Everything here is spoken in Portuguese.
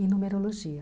E numerologia.